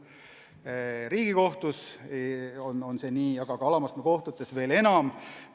See on nii Riigikohtus, aga alamastme kohtutes veel enam.